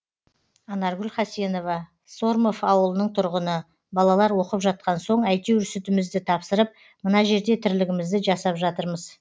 анаргүл хасенова сормов ауылының тұрғыны балалар оқып жатқан соң әйтеуір сүтімізді тапсырып мына жерде тірлігімізді жасап жатырмыз